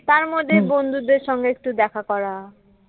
তার মধ্যে বন্ধুদের সাথে দেখা করা